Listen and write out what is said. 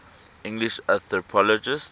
english anthropologists